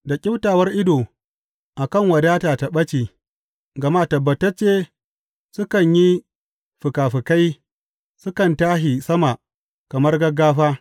Da ƙyiftawar ido a kan wadata ta ɓace, gama tabbatacce sukan yi fikafikai sukan tashi sama kamar gaggafa.